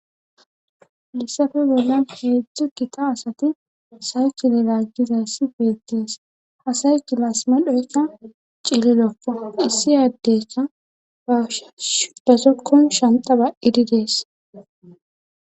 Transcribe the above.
Hayssafe bollan heedzdzu gita asati saykile laaggizass beettees hasay kilasma dhoykka ciilidoka issi aaddeka bash shudasokon shantaba ididees